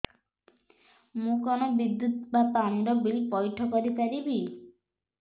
ମୁ କଣ ବିଦ୍ୟୁତ ବା ପାଣି ର ବିଲ ପଇଠ କରି ପାରିବି